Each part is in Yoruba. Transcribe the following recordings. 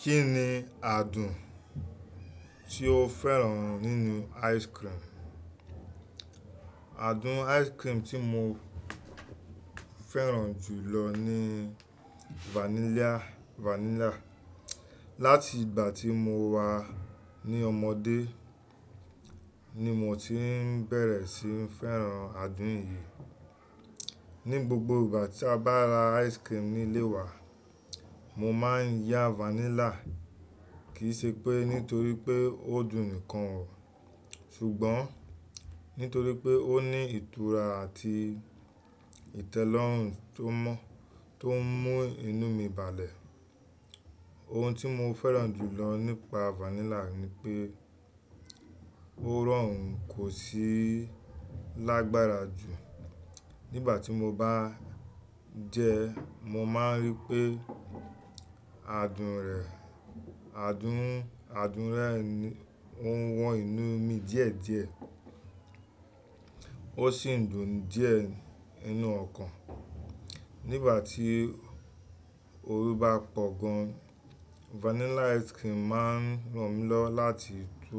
Kí ni àádùn tí o fẹ́ràn nínú ice cream? Àádùn ice cream tí mo fẹ́ràn jù lọ ni vanilla. Láti ìgbà tí mo wà ní ọmọdé ni mo ti bẹ̀rẹ̀ sí fẹ́ràn àádùn yìí. Ni gbogbo ìgbà tí a bá ra ice cream nílé wa, mo máà ń yá vanilla. Kì í ṣe pé nítorí pé ó dùn nìkan o, ṣùgbọ́n nítorí pé ó ní ìtura àti ìtẹ́lọ́rùn tó mún inú mi balẹ̀. Ohun tí mo fẹ́ràn jù lọ nípa vanilla ni pé ó rọrùn kò sí lágbára jù. Nígbà tí mo bá jẹ ẹ, mo máa rí pé àádùn rẹ̀ ó wọn inú mi díẹ̀ díẹ̀, ó sì ń dùn díẹ̀ nínú ọkàn. Nígbà tí oru bá pọ̀ gan an, vanilla ice cream máa ń ràn mí lọ láti tú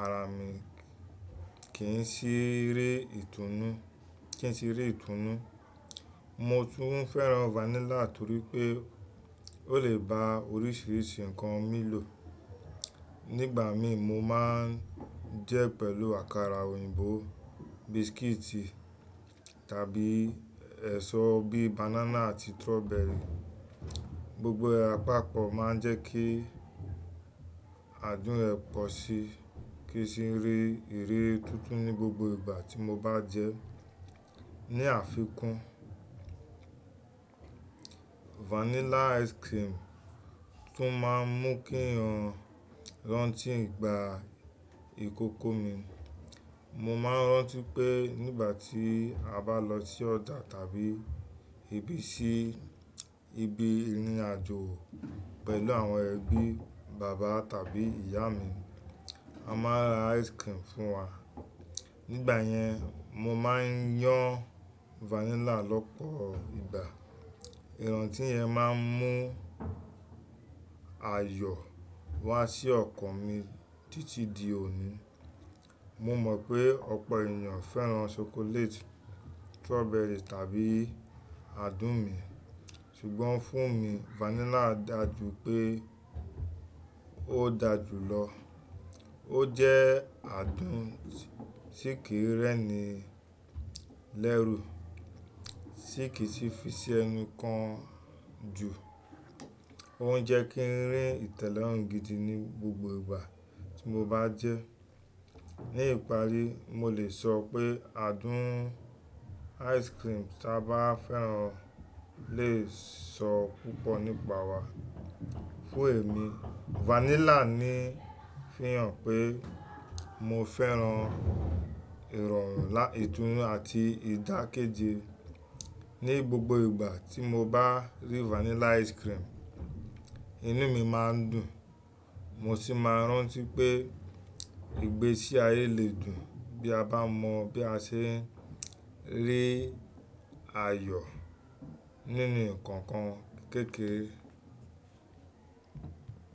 ara mi kí n sì rí ìtùnú. Mo tún fẹ́ràn vanilla nítorí pé ó lè ba oríṣìíríṣìí ǹkan mi lò. Nígbà mi mo máa ń jẹ ẹ pẹ̀lú àkàrà òyìnbó, biscuit tàbí èso bíi banana àti strawberry. Gbogbo apapọ̀ máa ń jẹ́ kí àádùn rẹ̀ pọ̀ síi kí sì n rí ìré tó tún ní gbogbo ìgbà tí mo bá jẹ ẹ. Ní àfikún, vanilla ice cream tún máa ń mú kí n rántí ìgbà ìkókó mi. Mo máa ń rántí pé nígbà tí a bá lọ sí ọjà tàbí ibi ìrínájo pẹ̀lú àwọn ẹbí, bàbá tàbí ìyá mi a máa n ra ice cream fún wa. Nígbà yẹn, mo máa ń yán vanilla lọ́pọ̀ ìgbà. Ìrántí yẹn máa ń mú ayọ̀ wá sí ọkàn mi títí di òní. Mo mọ̀ pé ọ̀pọ̀ ènìyàn fẹ́ràn chocolate, strawberry tàbí àádùn mi, ṣùgbọ́n fún mi vanilla dà jù pé ó dà jù lọ. Ó jẹ́ àádùn tí kì í rẹ́ni lẹ́rù, tí kì í sì fi sí ẹni kan jù, ó ń jẹ́ kí n rí ìtẹ́lọ́rùn gidi ní gbogbo ìgbà tí mo bá jẹ ẹ. Ní ìparí, mo lè sọ pé àádùn ice cream tí a bá fẹ́ràn lè sọ púpọ̀ nípa wa. Fún èmi, vanilla ń fihàn pé mo fẹ́ràn ìrọ̀rùn, ìtùnú àti ìdákéje. Ní gbogbo ìgbà tí mo bá rí vanilla ice cream, inú mi máa ń dùn mo sì máa ń rántí pé ìgbésí ayé lè dùn bí a bá mọ bí a ṣe ń rí ayọ̀ nínú nkankan kékeré.